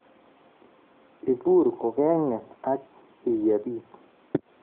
Ibure kogeng'eet ak akiyebe iit